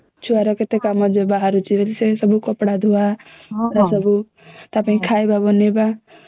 ଛୁଆ ର କେତେ କାମ ବାହାରୁଛି କପଡା ଧୁଆ ଏ ଗୁଡା ସବୁ ତ ପାଇଁ ଖାଇବା ବନେଇବା